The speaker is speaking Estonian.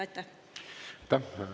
Aitäh!